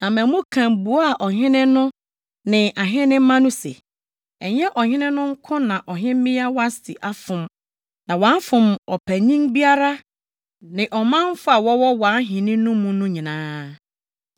Na Memukan buaa ɔhene no ne ahenemma no se, “Ɛnyɛ ɔhene no nko na ɔhemmea Wasti afom, na wafom ɔpanyin biara ne ɔmanfo a wɔwɔ wʼahenni no mu no nyinaa.